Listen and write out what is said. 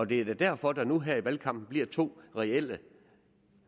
det er da derfor der nu her i valgkampen bliver to reelle